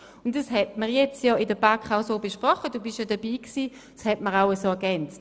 Und darüber hat man in der BaK gesprochen, Sie waren ja auch dabei.